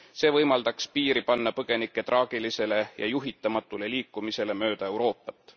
See võimaldaks piiri panna põgenike traagilisele ja juhitamatule liikumisele mööda Euroopat.